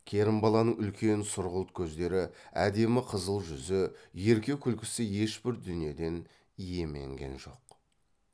керімбаланың үлкен сұрғылт көздері әдемі қызыл жүзі ерке күлкісі ешбір дүниеден иеменген жоқ